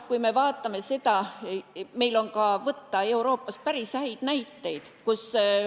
Meil on Euroopast võtta ka päris häid näiteid.